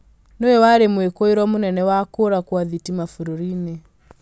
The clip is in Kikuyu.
nĩwe warĩ mwĩkũurwo munene wa kuũra kwa thitima bũrũri-inĩ